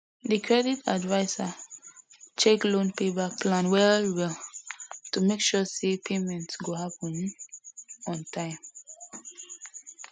the credit adviser check loan pay back plan well well to make sure say payment go happen um on time